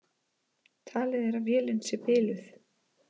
Talið er að vélin sé biluð